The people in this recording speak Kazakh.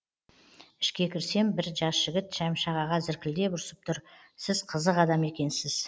ішке кірсем бір жас жігіт шәмші ағаға зіркілдеп ұрсып тұр сіз қызық адам екенсіз